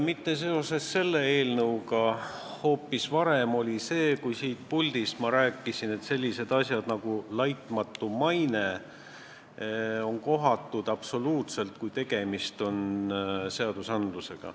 Mitte seoses selle eelnõuga, vaid hoopis varem rääkisin ma siin, et sellised väljendid nagu "laitmatu maine" on absoluutselt kohatud, kui tegemist on seadusandlusega.